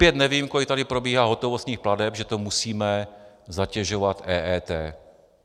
Opět nevím, kolik tady probíhá hotovostních plateb, že to musíme zatěžovat EET.